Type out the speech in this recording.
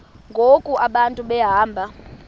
ngoku abantu behamba